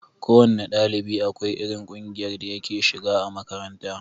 Ko wanne ɗalibi akwai irin kunjiyar da yake shiga a makaranta.